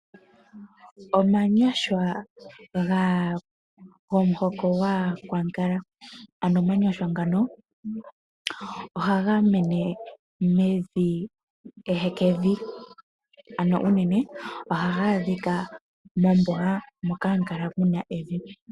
Omanyashwa gomuhoko gwaakwankala. Ano omanyashwa ngano, oha ga mene mevi ehekevi, ano uunene oha ga adhiika mombuga moka hamu kala muna ehekevi.